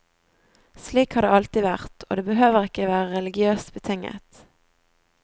Slik har det alltid vært, og det behøver ikke være religiøst betinget.